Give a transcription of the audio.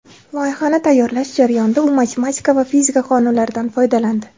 Loyihani tayyorlash jarayonida u matematika va fizika qonunlaridan foydalandi.